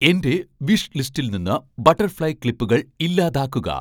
എന്റെ വിഷ് ലിസ്റ്റിൽ നിന്ന് ബട്ടർഫ്ലൈ ക്ലിപ്പുകൾ ഇല്ലാതാക്കുക